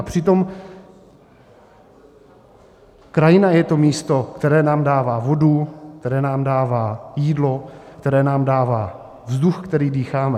A přitom krajina je to místo, které nám dává vodu, které nám dává jídlo, které nám dává vzduch, který dýcháme.